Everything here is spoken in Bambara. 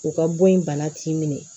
U ka bɔ in bana t'i minɛ